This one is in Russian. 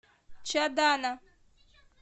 чадана